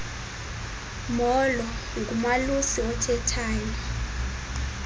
molo ngumalusi othethayo